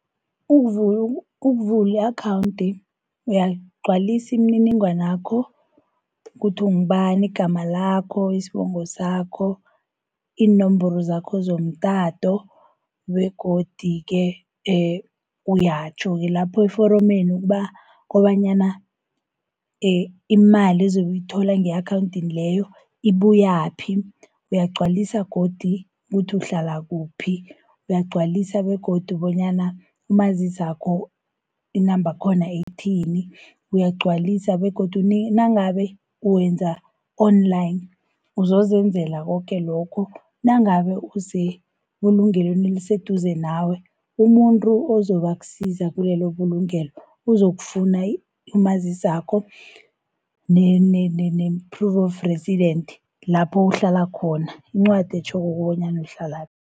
Ukuvula i-akhawunthi uyaligcwalisi imininingwanakho, kuthi ungubani igama lakho, isibongo sakho, iinomboro zakho zomtato, begodu-ke uyatjho-ke lapho eforomeni, kobanyana imali ezobe uyithola nge-akhawunti leyo ibuyaphi. Uyagcwalisa godu ukuthi uhlala kuphi, uyagcwalisa begodu bonyana umazisakho inamba yakhona ithini. Uyagcwalisa begodu nangabe wenza online uzozenzela koke lokho, nangabe usebulungelweni eliseduze nawe, umuntu ozobe akusiza kulelo bulungelo uzokufuna umazisakho, ne-proof of resident, lapho uhlala khona, incwadi etjhoko bonyana uhlalaphi.